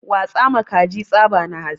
Watsa ma kaji tsaba na hatsi